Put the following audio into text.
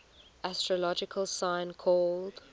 astrological sign called